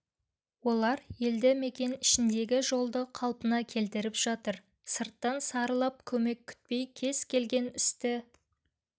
олар елді мекен ішіндегі жолды қалпына келтіріп жатыр сырттан сарылып көмек күтпей кез келген істі